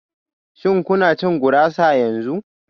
Shin kuna cin gurasa yanzu?